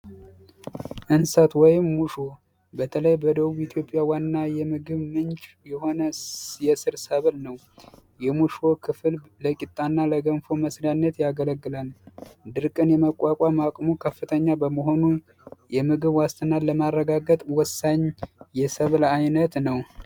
እንሰት ወይም ሙሾ በተለይ በደቡብ ኢትዮጵያ ዋና የምግብ ምጭ የሆነ የ ስር ሰብለ ነው የሙሺ ክፍል ለገንፎ እና ለቂጣ መስሪያነት ያገለግላል dirkin የ መቁአቁአም አቅሙ ከፍተኛ በመሆኑ yemigh ዋስትናን ለማረጋገጥ ወሳኝ የሰብል አይነት ነው ።